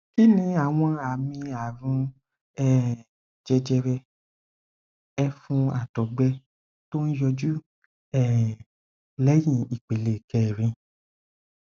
kí ni àwọn àmì àrùn um jẹjẹrẹ ẹfun àtọgbẹ tó ń yọjú um léyìn ìpele kẹrin